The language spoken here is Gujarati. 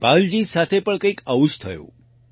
ધનપાલજી સાથે પણ કંઈક આવું જ થયું